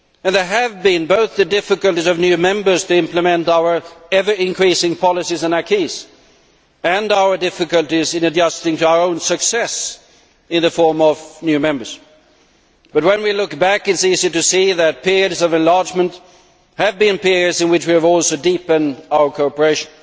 There have been both the difficulties of the new members implementing our ever increasing policies and acquis and our difficulties in adjusting to our own success in the form of new members, but when we look back, it is easy to see that periods of enlargement have been periods in which we have also deepened our cooperation.